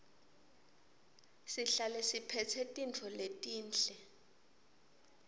sihlale siphetse tintfo letinhle